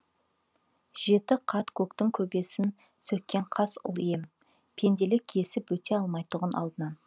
жеті қат көктің көбесін сөккен қас ұл ем пенделік кесіп өте алмайтұғын алдынан